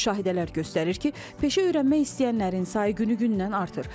Müşahidələr göstərir ki, peşə öyrənmək istəyənlərin sayı günü-gündən artır.